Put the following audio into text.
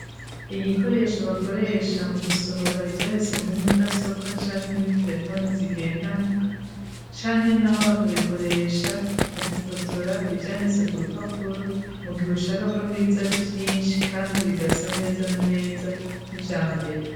Igikoresho bakoresha mu gusohora ivyanditse muri mudasobwa canke muri terefone zigendanwa, canke n'aho bakabikoresha mu gufotora ivyanditse ku rupapuro, mu gihe ushaka ko biza ari byinshi, kandi bigasa neza na neza n'ivyambere.